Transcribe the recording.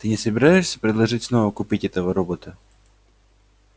ты не собираешься предложить снова купить этого робота